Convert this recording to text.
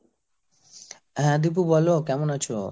হ্যাঁ দীপু বোলো কেমন আছো?